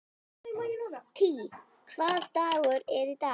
Tea, hvaða dagur er í dag?